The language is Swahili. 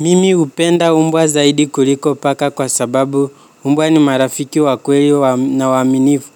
Mimi upenda umbwa zaidi kuliko paka kwa sababu umbwa ni marafiki wakweli na waminifu